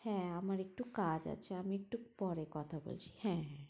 হ্যাঁ হ্যাঁ আমার একটু কাজ আছে, আমি একটু পরে কথা বলছি